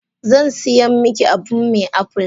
Zan siyan miki abun me apple?